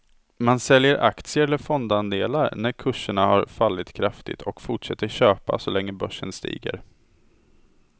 Man säljer aktier eller fondandelar när kurserna har fallit kraftigt och fortsätter köpa så länge börsen stiger.